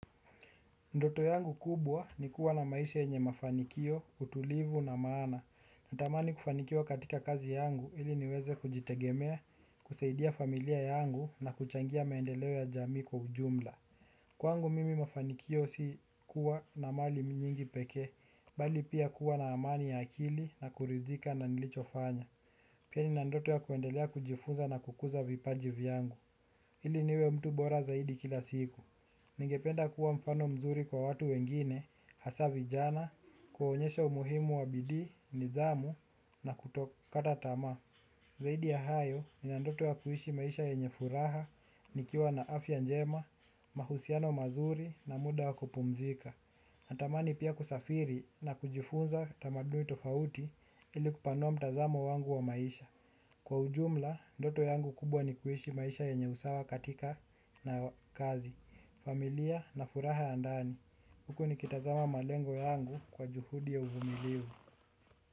Ndoto yangu kubwa ni kuwa na maisha yenye mafanikio, utulivu na maana natamani kufanikiwa katika kazi yangu ili niweze kujitegemea, kusaidia familia yangu na kuchangia maendeleo ya jamii kwa ujumla. Kwangu mimi mafanikio si kuwa na mali nyingi pekee bali pia kuwa na amani ya akili na kuridhika na nilicho fanya, pia nina ndoto ya kuendelea kujifunza na kukuza vipaji vyangu. Ili niwe mtu bora zaidi kila siku. Ningependa kuwa mfano mzuri kwa watu wengine hasa vijana kuwaonyesha umuhimu wa bidii, nidhamu na kutokata tamaa. Zaidi ya hayo, nina ndoto ya kuishi maisha yenye furaha nikiwa na afya njema, mahusiano mazuri na muda wa kupumzika. Natamani pia kusafiri na kujifunza tamaduni tofauti ili kupanua mtazamo wangu wa maisha. Kwa ujumla, ndoto yangu kubwa ni kuishi maisha yenye usawa katika kazi, familia na furaha ya ndani. Huko nikitazama malengo yangu kwa juhudi ya uvumilivu.